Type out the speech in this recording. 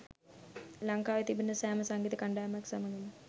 ලංකාවේ තිබෙන සෑම සංගීත කණ්ඩායමක් සමගම